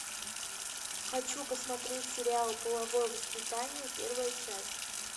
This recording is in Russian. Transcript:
хочу посмотреть сериал половое воспитание первая часть